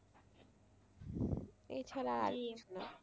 এছাড়া